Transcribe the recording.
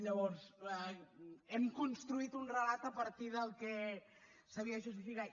llavors hem construït un relat a partir del que s’havia justificat